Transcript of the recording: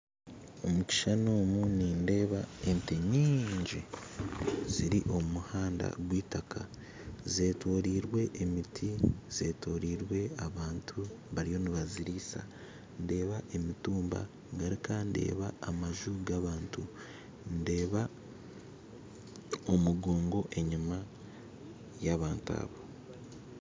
Omukishushani omu nindeeba entee nyingi ziri omu muhanda gweitaka, zetorirwe emiti zetorirwe abantu bariyo nibazirisa, ndeeba emitumba ngaruka ndeeba amaju gabantu, ndeeba omugongo enyima yabantu abo